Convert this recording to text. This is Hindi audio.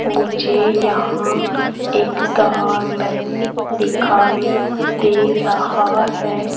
मुझे यहां एक गार्डन दिखाई दे रहा है।